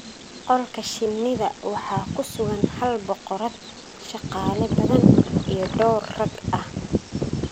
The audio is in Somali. Qolka shinnida, waxa ku sugan hal boqorad, shaqaale badan iyo dhawr rag ah.